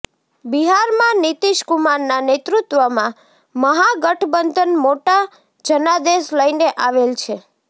બિહારમાં નીતિશકુમારના નેતૃત્ત્વમાં મહાગઠબંધન મોટા જનાદેશ લઈને આવેલ છે